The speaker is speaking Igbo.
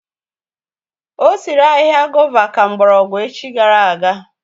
Ọ sịrị ahịhịa gòva ka mgbọrọgwụ echi gara aga